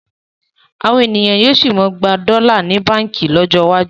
Àwọn ènìyàn yóò sì máa gba dọ́là ní báǹkì lọ́jọ́ iwájú